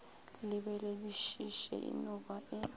lebeledišiše e no ba e